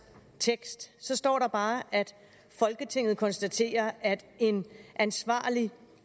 tekst står der bare at folketinget konstaterer at en ansvarlig